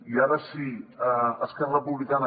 i ara sí esquerra republicana